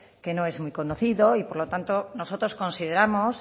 que no es muy conocido y por lo tanto nosotros consideramos